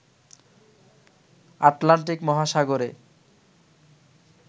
Atlantic মহাসাগরে